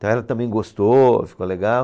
Então, ela também gostou, ficou legal.